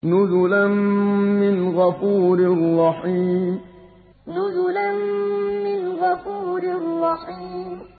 نُزُلًا مِّنْ غَفُورٍ رَّحِيمٍ نُزُلًا مِّنْ غَفُورٍ رَّحِيمٍ